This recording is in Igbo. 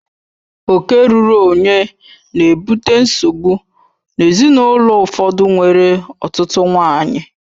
Oke ruuru onye na-ebute nsogbu n'ezinaụlọ ụfọdụ nwere ọtụtụ nwanyị